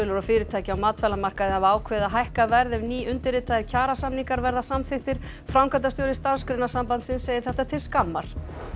og fyrirtæki á matvælamarkaði hafa ákveðið að hækka verð ef nýundirritaðir kjarasamningar verða samþykktir framkvæmdastjóri Starfsgreinasambandsins segir þetta til skammar